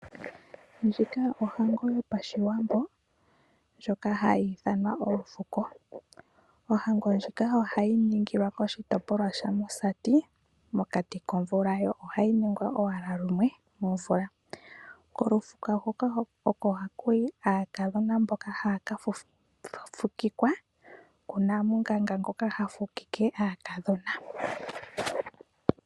Ndjika ohango yopa shiwambo, ndjoka hayi ithanwa olufuko. Ohango ndjika ohayi ningilwa koshi topolwa shaMusati mokati komvula ,yo ohayi ningwa owala lumwe movula. Kolufuko huka oko hakuyi aakadhona mboka haa kafukikwa kunamunganga ngoka hafukike aakadhona.